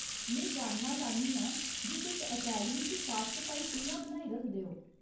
में जानना चाह्न्नी आं जे तुस अकैडमी च साफ सफाई कि'यां बनाई रखदे ओ।